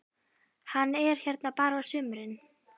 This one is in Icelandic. Hann er hérna bara á sumrin.